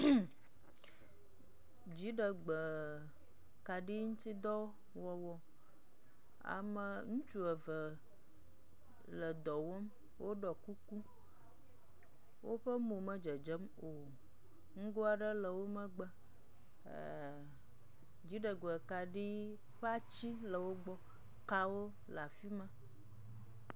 mmmƐ, dziɖegbeekaɖiŋutidɔwɔwɔ, ame ŋutsu eve le dɔ wɔm woɖɔ kuku, woƒe mo medzedzem o, ŋgo aɖe le wo megbe, eee, dziɖegbekaɖi ƒe ati le wogbɔ, kawo le afi ma.